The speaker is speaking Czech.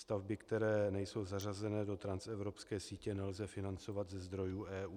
Stavby, které nejsou zařazené do transevropské sítě, nelze financovat ze zdrojů EU.